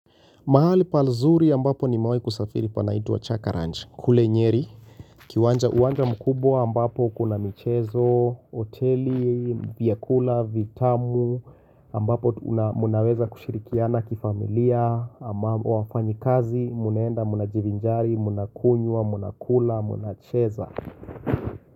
Mahali pazuri ambapo nimewahi kusafiri panaitwa Chaka ranch, kule Nyeri. Uwanja mkubwa ambapo kuna michezo, hoteli, vyakula vitamu, ambapo mnaweza kushirikiana kifamilia, wafanyi kazi, mnaenda, mnavinjari, mnakunywa, mnakula, mnacheza.